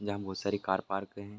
जहाँ बहोत सारी कार पार्क हैं।